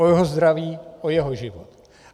O jeho zdraví, o jeho život.